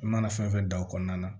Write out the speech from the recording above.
I mana fɛn fɛn da o kɔnɔna na